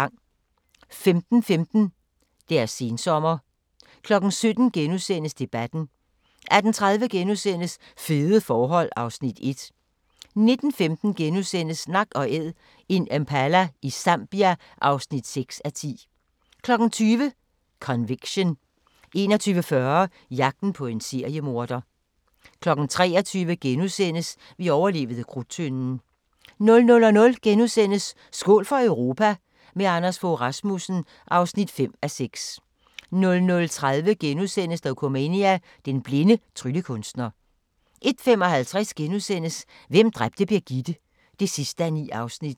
15:15: Deres sensommer 17:00: Debatten * 18:30: Fede forhold (Afs. 1)* 19:15: Nak & Æd – en impala i Zambia (6:10)* 20:00: Conviction 21:40: Jagten på en seriemorder 23:00: Vi overlevede Krudttønden * 00:00: Skål for Europa – med Anders Fogh Rasmussen (5:6)* 00:30: Dokumania: Den blinde tryllekunstner * 01:55: Hvem dræbte Birgitte? (9:9)*